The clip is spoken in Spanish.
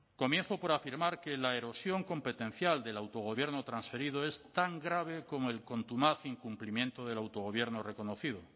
comienzo por afirmar que la erosión competencial del autogobierno transferido es tan grave como el contumaz incumplimiento del autogobierno reconocido